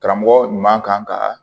Karamɔgɔ ɲuman kan ka